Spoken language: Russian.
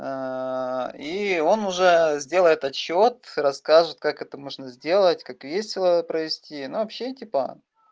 и он уже сделает отчёт расскажет как это можно сделать как весело провести ну вообще типа